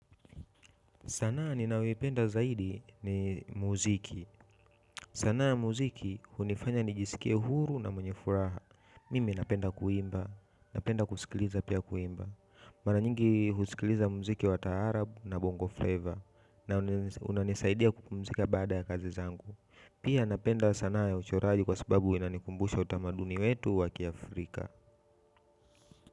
Sanaa ninayoipenda zaidi ni muziki. Sanaa ya muziki hunifanya nijisikie huru na mwenye furaha. Mimi napenda kuimba. Napenda kusikiliza pia kuimba. Mara nyingi husikiliza muziki wa taarab na Bongo Flava. Na unanisaidia kupumzika baada ya kazi zangu. Pia napenda sanaa ya uchoraji kwa sababu unanikumbusha utamaduni wetu wa kiafrika.